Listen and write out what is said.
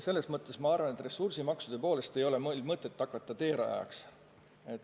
Selles mõttes ma arvan, et ressursimaksude kehtestamisel ei ole meil mõtet hakata teerajajaks.